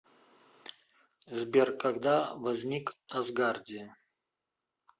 сбер когда возник асгардия